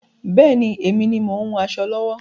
Bẹ́ẹ̀ni, èmi ni mo ń hun aṣọ lọ́wọ́.